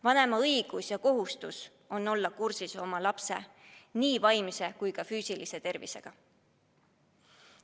Vanema õigus ja kohustus on olla kursis nii oma lapse vaimse kui ka füüsilise tervisega.